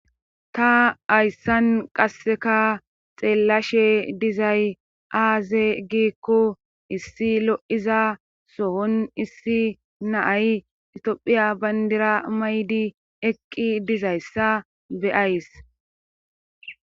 Ta hayssan qasseka xeellashe dizay aaze giikku issi lo'iza sohon issi naay itophiya bandira maydi eqqi dizayssa beyays.